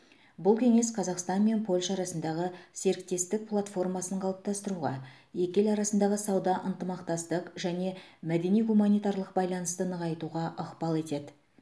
бұл кеңес қазақстан мен польша арасындағы серіктестік платформасын қалыптастыруға екі ел арасындағы сауда ынтымақтастық және мәдени гуманитарлық байланысты нығайтуға ықпал етеді